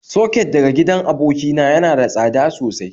Soket daga gidan abokina yana da tsada sosai